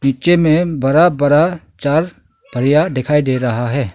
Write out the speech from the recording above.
पीछे में बड़ा बड़ा चार पहिया दिखाई दे रहा है।